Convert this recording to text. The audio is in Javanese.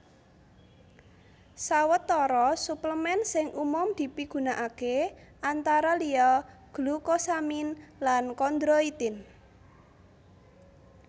Sawetara suplemen sing umum dipigunakaké antara liya glukosamin lan kondroitin